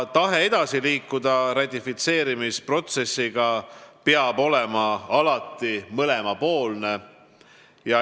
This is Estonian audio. Tahe ratifitseerimisprotsessiga edasi liikuda peab alati olema mõlemapoolne.